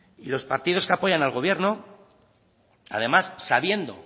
y los partidos que apoyan al gobierno además sabiendo